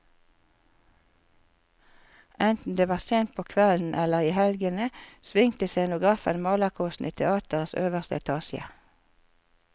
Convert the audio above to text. Enten det var sent på kvelden eller i helgene, svingte scenografen malerkostene i teatrets øverste etasje.